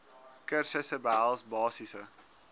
kursusse behels basiese